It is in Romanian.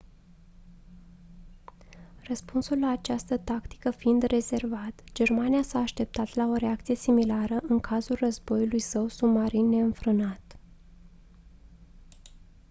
răspunsul la această tactică fiind rezervat germania s-a așteptat la o reacție similară în cazul războiului său submarin neînfrânat